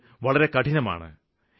അത് വളരെ കഠിനമാണ്